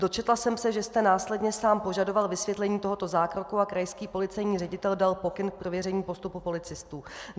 Dočetla jsem se, že jste následně sám požadoval vysvětlení tohoto zákroku a krajský policejní ředitel dal pokyn k prověření postupu policistů.